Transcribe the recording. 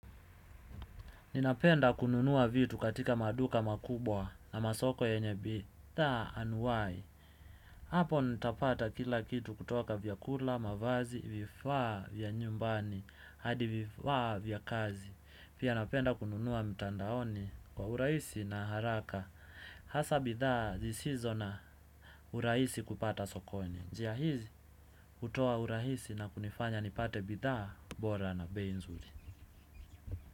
Ninapenda kununua vitu katika maduka makubwa na masoko yenye bidhaa anuwahi. Hapo nitapata kila kitu kutoka vyakula, mavazi, vifaa vya nyumbani hadi vifaa vya kazi. Pia napenda kununua mtandaoni kwa urahisi na haraka. Hasa bidhaa zisizo na urahisi kupata sokoni. Njia hizi hutoa urahisi na kunifanya nipate bidhaa bora na bei nzuri.